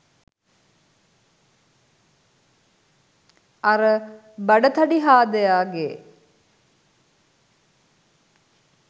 අර බඩ තඩි හාදයගේ